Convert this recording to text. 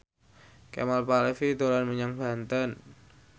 Kemal Palevi dolan menyang Banten